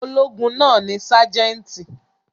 Ológun náà ni sájẹ́ńtì.